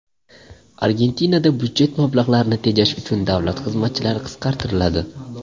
Argentinada budjet mablag‘larini tejash uchun davlat xizmatchilari qisqartiriladi.